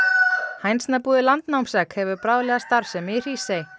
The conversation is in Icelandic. hænsnabúið Landnámsegg hefur bráðlega starfsemi í Hrísey